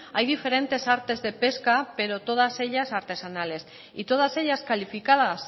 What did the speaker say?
hay diferentes artes de pesca pero todas ellas artesanales y todas ellas calificadas